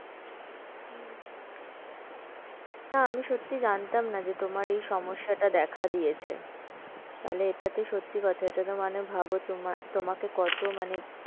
না আমি সত্যি জানতাম না যে তোমার এই সমস্যা টা দেখা দিয়েছে, তাহলে এটা তে সত্যি কথা এটা তে মানে ভাব তো, তোমাকে কত মানে,